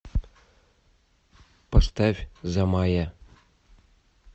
поставь замая